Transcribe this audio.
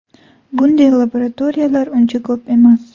Bunday laboratoriyalar uncha ko‘p emas.